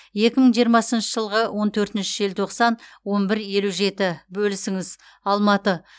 екі мың жиырмасыншы жылғы он төртінші желтоқсан он бір елу жеті бөлісіңіз алматы